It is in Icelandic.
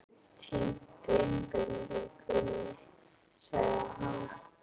Ég hef týnt einbeitingunni, sagði hann.